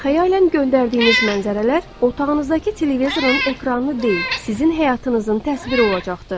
Xəyalən göndərdiyiniz mənzərələr otağınızdakı televizorun ekranını deyil, sizin həyatınızın təsviri olacaqdır.